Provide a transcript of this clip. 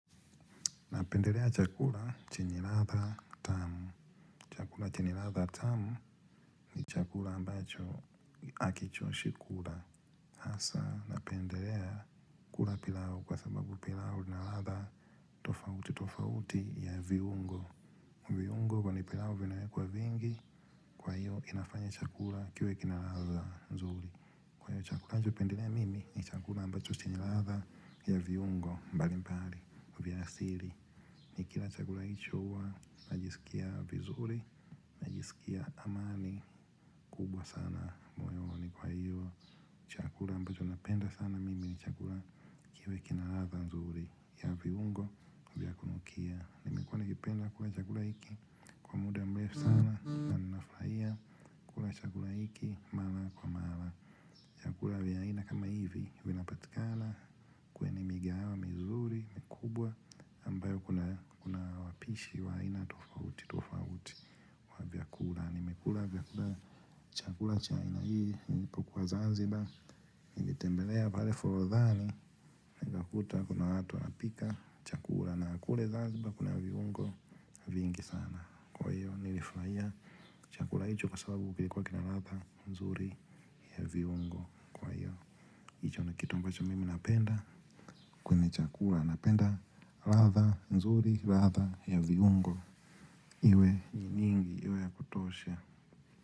Napendelea chakula chenye ladha tamu. Chakula chenye ladha tamu ni chakula ambacho hakichoshi kula. Hasaa, napendelea kula pilau kwa sababu pilau ina ladha tofauti tofauti ya viungo. Viungo kwenye pilau vinawekwa vingi, kwa hiyo inafanya chakula kiwe kina ladha nzuri. Kwa hiyo chakula ninachopendelea mimi ni chakula ambacho chenye ladha ya viungo mbalimbali vya asili. Nikila chakula hicho huwa najisikia vizuri, najisikia amani kubwa sana moyoni ni kwa hiyo chakula ambacho napenda sana mimi ni chakula kiwe kina ladha nzuri ya viungo vya kunukia. Nimekuwa nikipenda kula chakula hiki kwa muda mrefu sana na ninafurahia kula chakula hiki mara kwa mara chakula vya aina kama hivi vinapatikana kwenye migahawa mizuri mikubwa ambayo kuna wapishi wa aina tofauti tofauti wa vyakula. Nimekula vyakula, chakula cha aina hii nilipukuwa Zanzibar, nilitembelea pale forodhani, nikakuta kuna watu wanapika chakula na kule Zanzibar kuna viungo vingi sana. Kwa hiyo nilifurahia chakula hicho kwa sababu kilikuwa kina ladha nzuri ya viungo. Kwa hiyo hicho ni kitu ambacho mimi napenda kwenye chakula, napenda ladha nzuri, ladha ya viungo iwe ni nyingi, iwe ya kutosha.